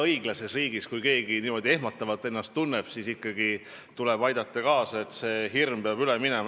Kui õiglases riigis keegi niimoodi ehmatab, siis tuleb ikkagi kaasa aidata, et see hirm üle läheks.